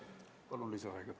Palun lisaaega!